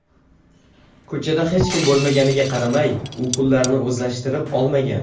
Ko‘chada hech kim bo‘lmaganiga qaramay, u pullarni o‘zlashtirib olmagan.